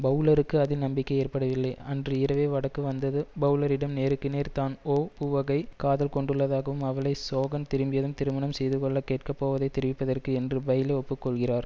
பெளலருக்கு அதில் நம்பிக்கையேற்படவில்லை அன்று இரவு வடக்கு வந்தது பெளலரிடம் நேருக்கு நேர் தான் ஓ புவகை காதல் கொண்டுள்ளதாகவும் அவளை சோகன் திரும்பியதும் திருமணம் செய்துகொள்ளக் கேட்க போவதைத் தெரிவிப்பதற்கு என்று பைலோ ஒப்புக்கொள்கிறார்